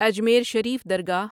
Ajmer Sharif Dargah